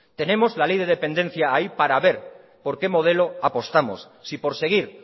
tenemos la ley de dependencia ahí para ver por qué modelo apostamos si por seguir